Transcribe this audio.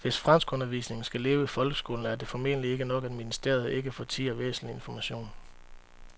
Hvis franskundervisningen skal leve i folkeskolen er det formentlig ikke nok, at ministeriet ikke fortier væsentlig information.